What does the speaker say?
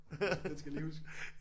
Den den skal jeg lige huske